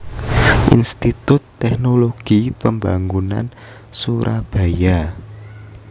Institut Teknologi Pembangunan Surabaya